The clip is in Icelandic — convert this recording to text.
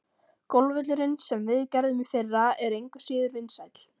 Golfvöllurinn, sem við gerðum í fyrra, er engu síður vinsæll.